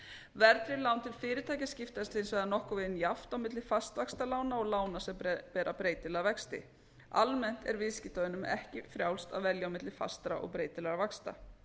verðtryggð lán til fyrirtækja skiptast hins vegar nokkurn veginn jafnt á milli fastvaxtalána og lána sem bera breytilega vexti almennt er viðskiptavinum ekki frjálst að velja á milli fastra og breytilegra vaxta